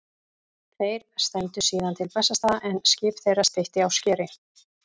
Þeir stefndu síðan til Bessastaða en skip þeirra steytti á skeri.